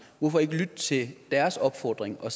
hvorfor ikke lytte til deres opfordring og